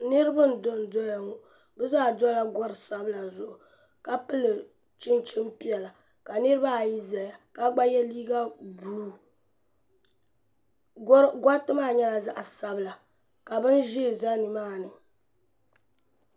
Niriba n dondoya ŋɔ bɛ zaa dola gori sabila zuɣu ka pili chinchini piɛla ka niriba ayi zaya ka ye liiga buluu goriti maa nyɛla zaɣa sabila ka binʒee za nimaani.